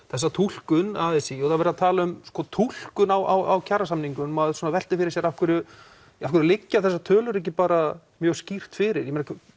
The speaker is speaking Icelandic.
þessa túlkun a s í og það er verið að tala um túlkun á kjarasamningum og maður veltir fyrir sér af hverju af hverju liggja þessar tölur ekki bara mjög skýrt fyrir